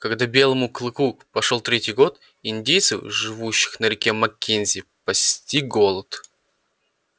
когда белому клыку пошёл третий год индейцев живших на реке маккензи постиг голод